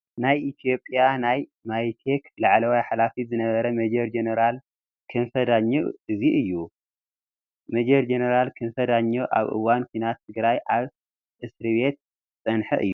ናይ ኢ/ያ ናይ ሜይቴክ ላዕለዋይ ሓላፊ ዝነበረ ሜ/ ጀነራል ክንፈ ዳኘው እዚ እዩ፡፡ ጀ/ ክንፈ ዳኘው ኣብ እዋን ኩናት ትግራይ ኣብ እስር ቤት ዝፀንሐ እዩ፡፡